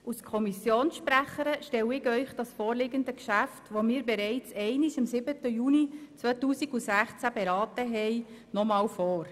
Als Kommissionssprecherin stelle ich Ihnen das vorliegende Geschäft, welches wir bereits am 7. Juni 2016 beraten haben, noch einmal vor.